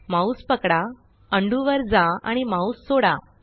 mouse पकडा undo undo वर जा आणि माउस सोडा